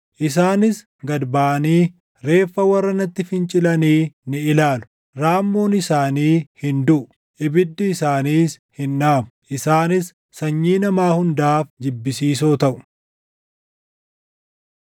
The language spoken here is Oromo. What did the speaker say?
“Isaanis gad baʼanii reeffa warra natti fincilanii ni ilaalu; raammoon isaanii hin duʼu; ibiddi isaaniis hin dhaamu; isaanis sanyii namaa hundaaf jibbisiisoo taʼu.”